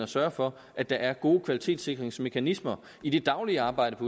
sørge for at der er gode kvalitetssikringsmekanismer i det daglige arbejde